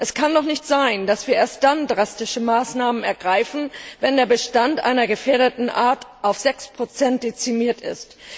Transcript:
Es kann doch nicht sein, dass wir erst dann drastische Maßnahmen ergreifen, wenn der Bestand einer gefährdeten Art auf 6 dezimiert ist.